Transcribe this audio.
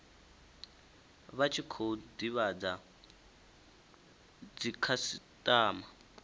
vha tshi khou divhadza dzikhasitama